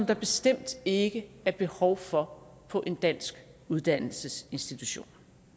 der bestemt ikke er behov for på en dansk uddannelsesinstitution